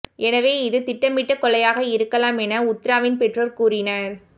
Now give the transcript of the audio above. எனவே இது திட்டமிட்ட கொலையாக இருக்கலாம் என உத்ராவின் பெற்றோர் கூறினர்